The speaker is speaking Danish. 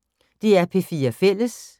DR P4 Fælles